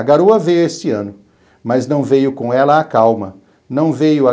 A garoa veio este ano, mas não veio com ela a calma, não veio a